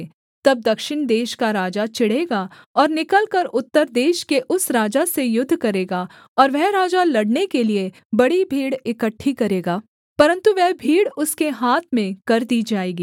तब दक्षिण देश का राजा चिढ़ेगा और निकलकर उत्तर देश के उस राजा से युद्ध करेगा और वह राजा लड़ने के लिए बड़ी भीड़ इकट्ठी करेगा परन्तु वह भीड़ उसके हाथ में कर दी जाएगी